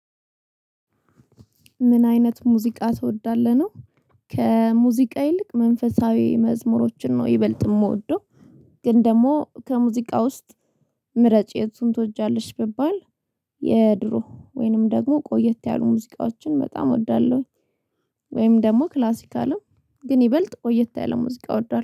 ምን አይነት ሙዚቃ ትወዳለህ ነው? ከሙዚቃ ይልቅ መንፈሳዊ መዝሙሮችን ነው ይበልጥ የምወደው። ግን ደግሞ ከሙዚቃ ውስጥ ምረጪ የቱን ትወጃለሽ? ብባል የድሮ ወይንም ደግሞ ቆየት ያሉ ሙዚቃዎችን በጣም እወዳለሁኝ። ወይንም ደግሞ ክላሲካልም ግን ይበልጥ ወይ የት ያለ ሙዚቃ ወዳለሁ